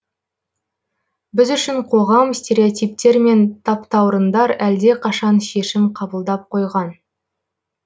біз үшін қоғам стереотиптер мен таптаурындар әлдеқашан шешім қабылдап қойған